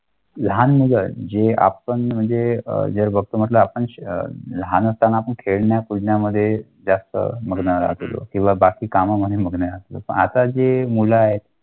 आपण जे बघतो मग आपण लहान हम्म असताना पुण्यामध्ये काम.